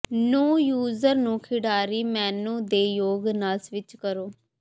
ਨੂੰ ਯੂਜ਼ਰ ਨੂੰ ਖਿਡਾਰੀ ਮੇਨੂ ਦੇ ਯੋਗ ਨਾਲ ਸਵਿੱਚ ਕਰੋ